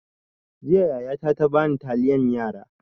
Jiya yaya ta ta bani taliyan yara.